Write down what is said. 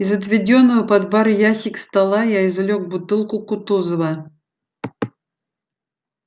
из отведённого под бар ящика стола я извлёк бутылку кутузова